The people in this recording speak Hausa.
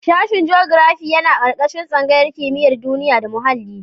Sashen jogirafi yana ƙarƙashin tsangayar kimiyar duniya da muhalli.